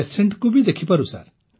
patient କୁ ବି ଦେଖିପାରୁ ସାର୍